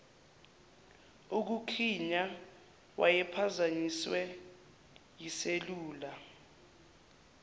ukukhiya wayephazanyiswe yiselula